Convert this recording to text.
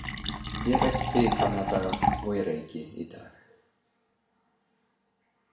Ég reykti í gamla daga og ég reyki í dag.